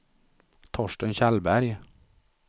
Torsten Kjellberg